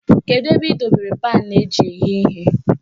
Kedu ebe ị dobere paanụ eji eghe ihe?